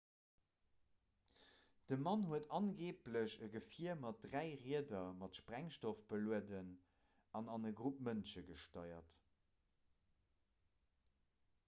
de mann huet angeeblech e gefier mat dräi rieder mat sprengstoff belueden an an e grupp mënsche gesteiert